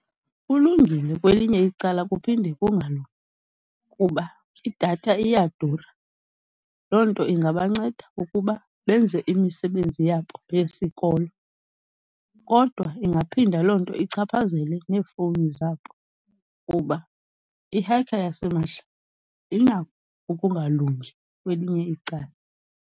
Kulungile kwelinye icala kuphinde kungalungi, kuba idatha iyadura. Loo nto ingabanceda ukuba benze imisebenzi yabo yesikolo, kodwa ingaphinda loo nto ichaphazele neefowuni zabo kuba ihekha yasimahla inako ukungalungi kwelinye icala.